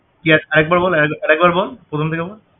তুই আক~ আরেকবার বল আরেকবার বল প্রথম থেকে বল